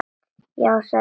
Já, sagði Sveinn.